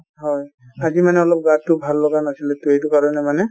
হয়, আজি মানে অলপ গা টো ভাল লগা নাছিলে টো সেইটো কাৰণে মানে ,